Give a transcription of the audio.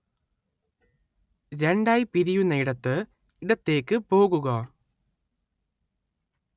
രണ്ടായി പിരിയുന്നയിടത്ത് ഇടത്തേക്ക് പോകുക